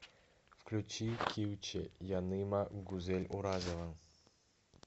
включи килче яныма гузель уразова